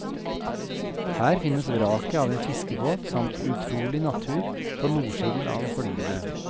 Her finnes vraket av en fiskebåt samt utrolig natur på nordsiden av holmene.